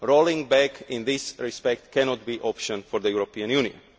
Rolling back in this respect cannot be an option for the European Union.